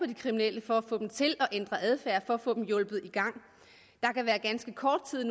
de kriminelle for at få dem til at ændre adfærd for at få dem hjulpet i gang der kan være ganske kort tid